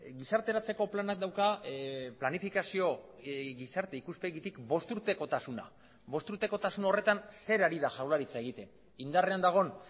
gizarteratzeko planak dauka planifikazio gizarte ikuspegitik bost urtekotasuna bost urtekotasun horretan zer ari da jaurlaritza egiten indarrean dagoen